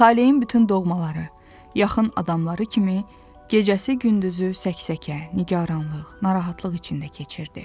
Talehin bütün doğmaları, yaxın adamları kimi gecəsi gündüzü səksəkə, nigaranlıq, narahatlıq içində keçirirdi.